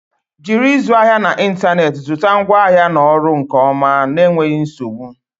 Jiri ịzụ ahịa n'ịntanetị zụta ngwaahịa na ọrụ nke ọma na enweghi nzogbu.